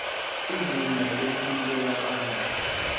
izinga lempilo yabantu